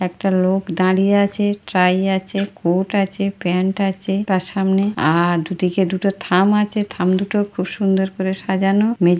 একটা লোক দাঁড়িয়ে আছে ট্রাই আছে কোর্ট আছে প্যান্ট আছে তার সামনে আর দুটিকে দুটো থাম আছেদুটো খুব সুন্দর করে সাজানো মে--